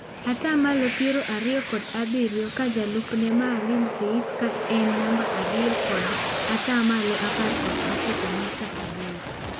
Ataa malo piero ariyo kod abirio ka jalup ne Maalim Seif ka en namba ariyo kod ataa malo apar kod ochiko nukta aboro.